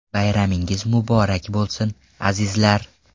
Bayramingiz muborak bo‘lsin, azizlar!